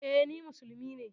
E, ni musulmi ne.